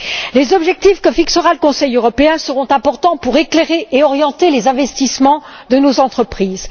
Les objectifs que fixera le Conseil européen seront importants pour éclairer et orienter les investissements de nos entreprises.